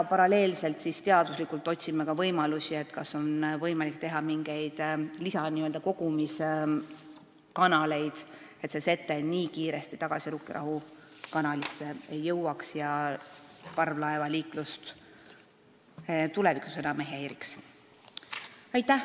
Paralleelselt otsime ka teaduslikult võimalusi, kuidas teha mingeid n-ö lisa-kogumiskanaleid, et see sete nii kiiresti tagasi Rukkirahu kanalisse ei jõuaks ja tulevikus enam parvlaevaliiklust ei häiriks.